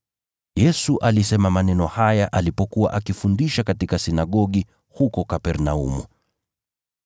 Yesu alisema maneno haya alipokuwa akifundisha katika sinagogi huko Kapernaumu.